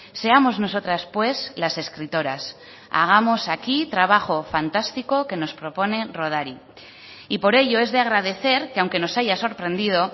seamos nosotras pues las escritoras hagamos aquí trabajo fantástico que nos propone rodari y por ello es de agradecer que aunque nos haya sorprendido